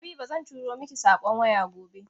Habiba zan turo miki saƙon waya gobe.